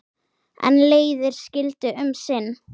En leiðir skildu um sinn.